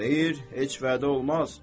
Xeyr, heç vədə olmaz.